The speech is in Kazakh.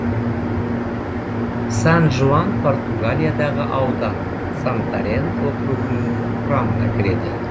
сан жуан португалиядағы аудан сантарен округінің құрамына кіреді